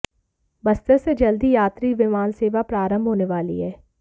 बस्तर से जल्द ही यात्री विमान सेवा प्रारंभ होने वाली है